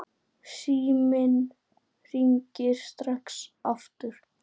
Síminn hringir strax aftur.